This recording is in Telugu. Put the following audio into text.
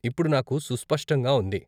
ఇప్పుడు నాకు సుస్పష్టంగా ఉంది.